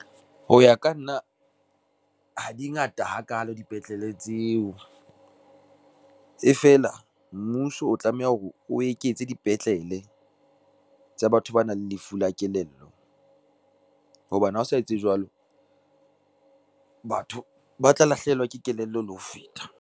Ho ya ka nna, ha di ngata ha kalo dipetlele tseo. Ee feela, mmuso o tlameha hore o eketse dipetlele, tsa batho ba nang le lefu la kelello hobane ha o sa etse jwalo, batho ba tla lahlehelwa ke kelello le ho feta.